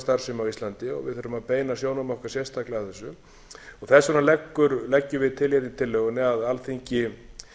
á íslandi við þurfum að beina sjónum okkar sérstaklega að þessu þess vegna leggjum við til hérna í tillögunni að alþingi